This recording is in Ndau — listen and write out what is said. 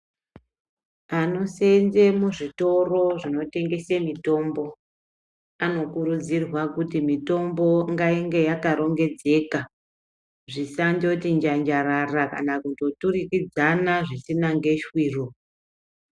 Anosenze muzvitoro zvinotengese mitombo anokurudzirwa kuti mitombo ngainge yakarongedzeka. Zvisandoti njanjarara kana kutoturukidzana zvisina ngeshwiro.